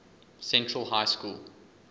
central high school